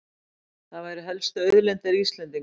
Það væru helstu auðlindir Íslendinga